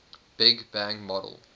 big bang model